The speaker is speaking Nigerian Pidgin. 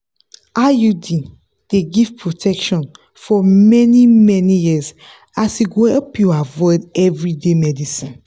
iud dey give protection for many-many years as e go help you avoid everyday medicines.